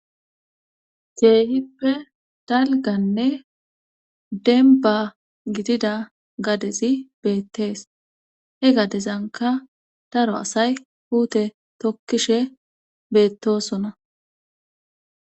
Kehippe dalgganne denba gidida gadezi beettees he gadezankka daro asay puute tokkishshe beettosona